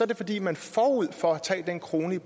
det fordi man forud for at tage den krone